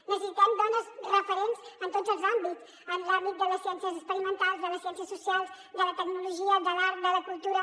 necessitem dones referents en tots els àmbits en l’àmbit de les ciències experimen·tals de les ciències socials de la tecnologia de l’art de la cultura